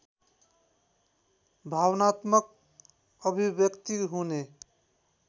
भावनात्मक अभिव्यक्ति हुने